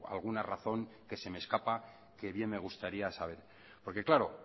alguna razón que se me escapa que bien me gustaría saber porque claro